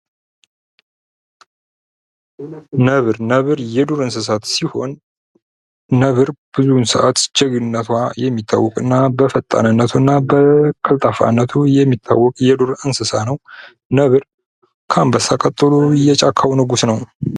ነብር የዱር እንሰሳ ሲሆን ነብር ብዙ ሰዓት በጀግንነቱ የሚታወቅና በፈጣንነቱና በቀልጣፋነቱ የሚታወቅ የዱር እንስሳ ነው ነብር ከአንበሳ ቀጥሎ የጫካው ንጉስ ነው!